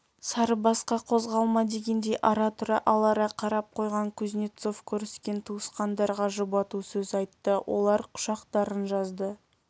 сарыбасқа қозғалма дегендей ара-тұра алара қарап қойған кузнецов көріскен туысқандарға жұбату сөз айтты олар құшақтарын жазды